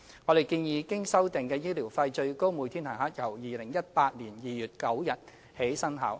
我們建議，經修訂的醫療費最高每天限額由2018年2月9日起生效。